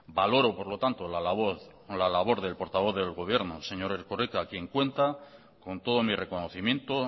valoro por lo tanto la labor o la labor del portavoz del gobierno señor erkoreka quien cuenta con todo mi reconocimiento